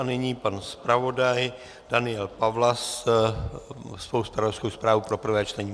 A nyní pan zpravodaj Daniel Pawlas se svou zpravodajskou zprávou pro prvé čtení.